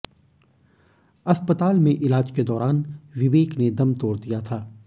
अस्पताल में इलाज के दौरान विवेक ने दम तोड़ दिया था